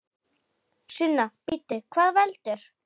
Sunna: Bíddu, hvað veldur?